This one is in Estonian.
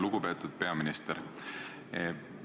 Lugupeetud peaminister!